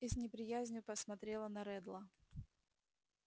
и с неприязнью посмотрела на реддла